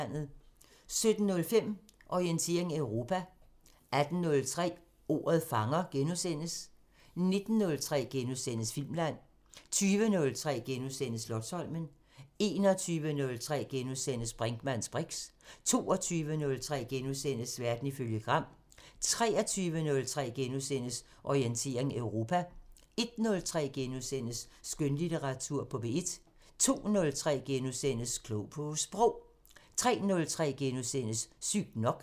17:05: Orientering Europa 18:03: Ordet fanger * 19:03: Filmland * 20:03: Slotsholmen * 21:03: Brinkmanns briks * 22:03: Verden ifølge Gram * 23:03: Orientering Europa * 01:03: Skønlitteratur på P1 * 02:03: Klog på Sprog * 03:03: Sygt nok *